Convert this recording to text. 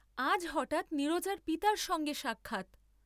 আজ হঠাৎ নীরজার পিতার সঙ্গে সাক্ষাৎ।